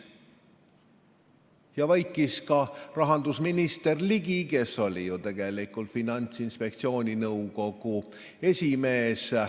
Ja vaikis ka rahandusminister Jürgen Ligi, kes oli ju tegelikult Finantsinspektsiooni nõukogu esimees.